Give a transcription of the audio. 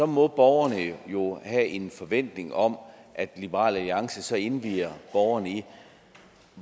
må borgerne jo have en forventning om at liberal alliance så indvier borgerne i